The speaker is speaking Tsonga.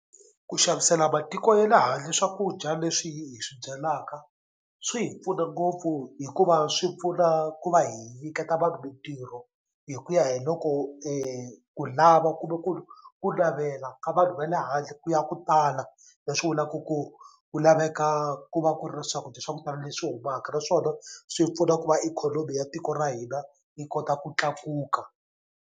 Ku xavisela matiko ye le handle swakudya leswi hi swi byalaka swi hi pfuna ngopfu hikuva swi pfuna ku va hi nyiketa vanhu mintirho hi ku ya hi loko ku lava kumbe ku navela ka vanhu va le handle ku ya ku tala leswi vulaku ku ku laveka ku va ku ri swakudya swa ku tala leswi humaka naswona swi pfuna ku va ikhonomi ya tiko ra hina yi kota ku tlakuka.